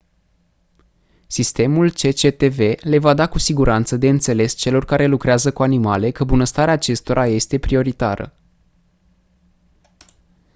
sistemul cctv le va da cu siguranță de înțeles celor care lucrează cu animale că bunăstarea acestora este prioritară